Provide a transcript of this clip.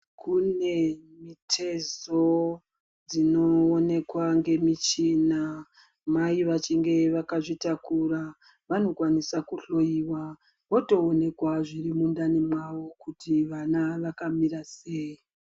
Kune mitezo dzinoonekwa ngemichina. Mai vachinge vakazvitakura vanokwanisa kuhloyiwa votoonekwa zviri mundani mwavo kuti vana vakamira sei.